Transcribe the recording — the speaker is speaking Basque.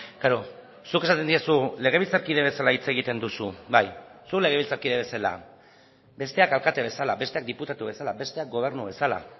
klaro zuk esaten diezu legebiltzarkide bezala hitz egiten duzu bai zu legebiltzarkide bezala besteak alkate bezala besteak diputatu bezala besteak gobernu bezala